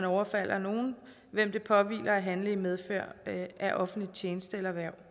overfalder nogen hvem det påhviler at handle i medfør af offentlig tjeneste eller hverv